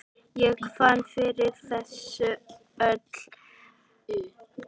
Ég fann fyrir þessu öllu.